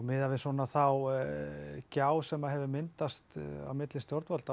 miðað við svona þá gjá sem hefur myndast milli stjórnvalda